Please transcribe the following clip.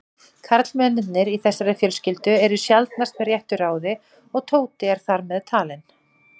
Karlmennirnir í þessari fjölskyldu eru sjaldnast með réttu ráði og Tóti er þar meðtalinn.